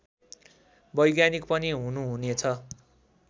वैज्ञानिक पनि हुनुहुनेछ